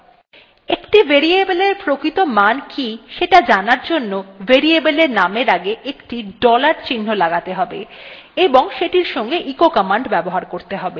একটি variable এর প্রকৃত মান কি সেটি জানার জন্য variable এর নামের আগে একটি dollar চিহ্ন লাগাতে have এবং সেটির সঙ্গে echo command ব্যবহার করতে have